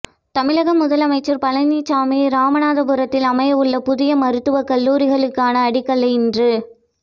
தமிழக முதலமைச்சர் பழனிசாமி இராமநாதபுரத்தில் அமையவுள்ள புதிய மருத்துவ கல்லூரிக்கான அடிக்கல்லை இன்று